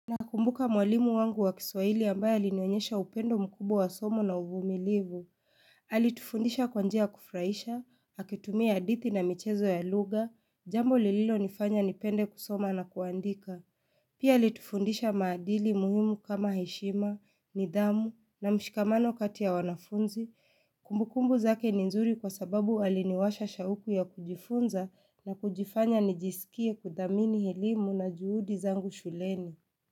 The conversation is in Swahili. Na kumbuka mwalimu wangu wa kiswahili ambaye alinionyesha upendo mkubwa wa somo na uvumilivu. Alitufundisha kwa njia ya kufurahisha, akitumia hadithi na michezo ya lugha, jambo lililo nifanya nipende kusoma na kuandika. Pia alitufundisha maadili muhimu kama heshima, nidhamu na mshikamano kati ya wanafunzi. Kumbukumbu zake ni nzuri kwa sababu aliniwasha shauku ya kujifunza na kujifanya nijisikie kudhamini elimu na juhudi zangu shuleni.